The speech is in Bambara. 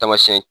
Tamasiyɛn